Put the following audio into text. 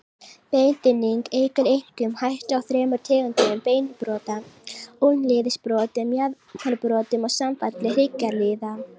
Beinþynning eykur einkum hættu á þremur tegundum beinbrota, úlnliðsbrotum, mjaðmarbrotum og samfalli hryggjarliða.